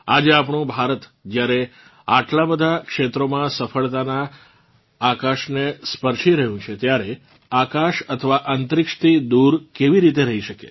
આજે આપણું ભારત જ્યારે આટલાં બધાં ક્ષેત્રોમાં સફળતાનાં આકાશનેસ્પર્શીરહ્યું છે ત્યારે આકાશ અથવા અંતરિક્ષથી દૂર કેવી રીતે રહી શકે